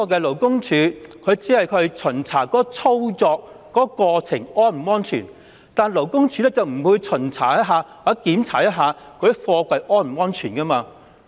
勞工處只會巡查作業過程是否安全，而不會檢查貨櫃是否安全。